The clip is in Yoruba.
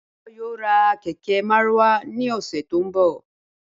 Báyò̩ yóò ra kè̩ké̩ márúwá ní ò̩sè̩ tó ń bò̩